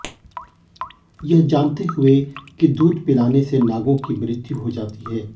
यह जानते हुए की दूध पिलाने से नागों की मृ्त्यु हो जाती है